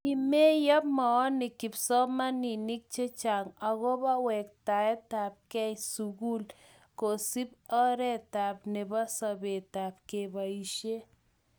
kimeyo moonik kipsomaninik che chang' akobo kewektagei sukul akusub oreta nebo sobetab kaibisie